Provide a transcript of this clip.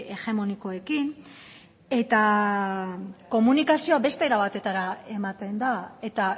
hegemonikoekin eta komunikazioa beste era batetara ematen da eta